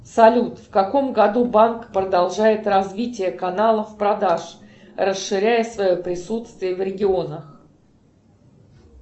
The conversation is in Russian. салют в каком году банк продолжает развитие каналов продаж расширяя свое присутствие в регионах